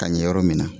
Ka ɲɛ yɔrɔ min na